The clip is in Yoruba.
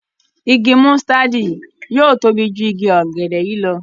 ìgi músítádì yí yóò tóbi jù ìgi ògèdè yí ló.